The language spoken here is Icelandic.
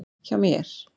Hjá mér.